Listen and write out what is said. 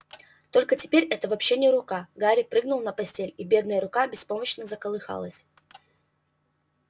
только теперь это вообще не рука гарри прыгнул на постель и бедная рука беспомощно заколыхалась